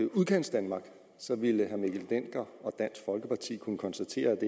udkantsdanmark ville herre mikkel dencker og dansk folkeparti kunne konstatere